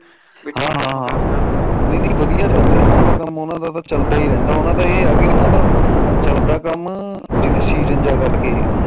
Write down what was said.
ਹਾ ਹਾ ਨਈ ਵਧੀਆਂ ਚੱਲਦਾ ਉਹਨਾ ਦਾ ਤਾ ਕੰਮ ਉਹਨਾ ਦਾ ਤਾ ਇਹ ਆ ਚੱਲਦਾ ਕੰਮ ਜਿਵੇ ਸੀਜਨ ਤਾ ਕਰਕੇ